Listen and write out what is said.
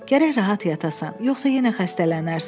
Gərək rahat yatasan, yoxsa yenə xəstələnərsən.